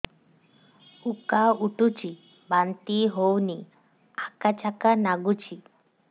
ଉକା ଉଠୁଚି ବାନ୍ତି ହଉନି ଆକାଚାକା ନାଗୁଚି